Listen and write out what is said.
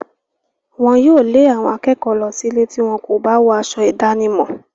Wọn yóò lé àwọn akẹ́kọ̀ọ́ lọ sílé tí wọn kò bá wọ aṣọ ìdánimọ̀.